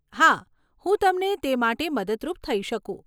હા, હું તમને તે માટે મદદરૂપ થઇ શકું.